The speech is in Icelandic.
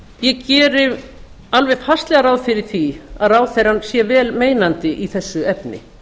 ég geri alveg fastlega ráð fyrir því að ráðherrann sé vel meinandi í þessu efni